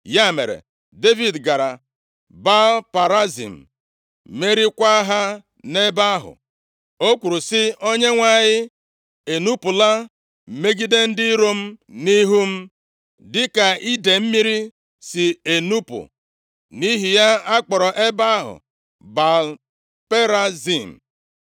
Ya mere, Devid gara Baal-Perazim, meriekwa ha nʼebe ahụ. O kwuru sị, “ Onyenwe anyị enupula megide ndị iro m nʼihu m, dịka idee mmiri si enupu.” Nʼihi ya, a kpọrọ ebe ahụ Baal-Perazim.